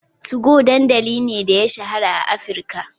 2go dandamali ne da ya shahara a Afirka,